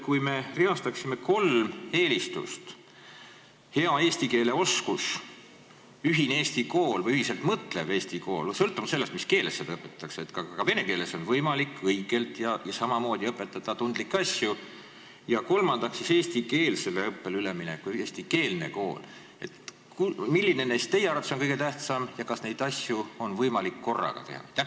Kui me reastaksime kolm eelistust – hea eesti keele oskus, ühine Eesti kool või ühiselt mõtlev Eesti kool, sõltumata sellest, mis keeles seal õpetatakse , ja kolmandaks eestikeelsele õppele üleminek, eestikeelne kool –, siis milline neist teie arvates on kõige tähtsam ja kas neid asju on võimalik korraga teha?